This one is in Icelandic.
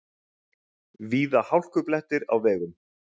Víða hálkublettir á vegum